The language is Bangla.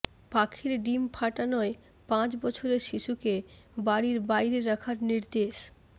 পাখির ডিম ফাটানোয় পাঁচ বছরের শিশুকে বাড়ির বাইরে রাখার নির্দেশ